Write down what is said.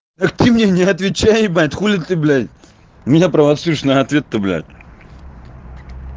это ты мне отвечай ебать хули ты блядь меня провоцируешь на ответ то блядь